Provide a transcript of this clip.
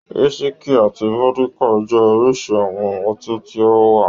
Wísíkì àti vódíkà jẹ́ oríṣi àwọn ọtí tí ó wà.